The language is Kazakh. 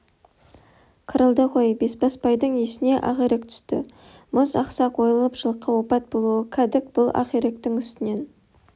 қырылды ғой бесбасбайдың есіне ақирек түсті мұз ақсақ ойылып жылқы опат болуы кәдік бұл ақиректің үстінен